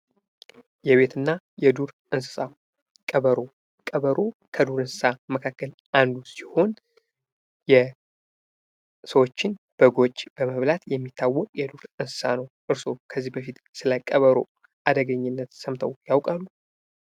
የቤትና የዱር እንስሳት ቀበሮ፡- ቀበሮ ከዱር እንስሳት መካከል አንዱ ሲሆን የሰዎችን በጎች በመብላት የሚታወቅ የዱር እንስሳት ነው። እርስዎ ከዚህ በፊት ስለ ቀበሮ አደገኝነት ሰምተው ያውቃሉ።